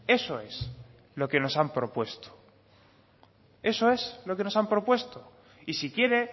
eso es lo que nos han propuesto eso es lo que nos han propuesto y si quiere